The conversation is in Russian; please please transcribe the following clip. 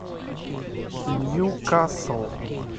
ньюкасл